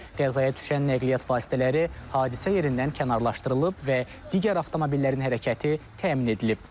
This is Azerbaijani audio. Qəzaya düşən nəqliyyat vasitələri hadisə yerindən kənarlaşdırılıb və digər avtomobillərin hərəkəti təmin edilib.